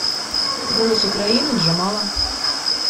голос украины джамала